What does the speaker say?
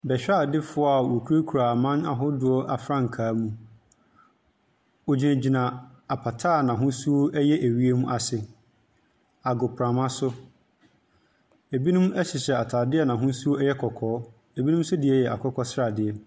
Bɛhwɛadefoɔ a wɔkura kura aman ahodoɔ afrankaa mu, wɔgyina gyina apata a n'ahosuo ɛyɛ ewiem ase. Agoprama so, ebinom ɛhyehyɛ ataade a n'ahosuo ɛyɛ kɔkɔɔ, ebinom so deɛ yɛ akokɔ sradeɛ.